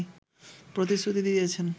প্রতিশ্রুতি দিয়েছেন